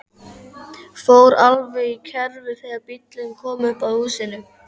Fór alveg í kerfi þegar bíllinn kom upp að húsinu.